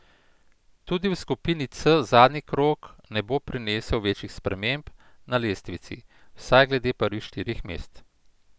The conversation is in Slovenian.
Tudi v skupini C zadnji krog ne bo prinesel večjih sprememb na lestvici, vsaj glede prvih štirih mest.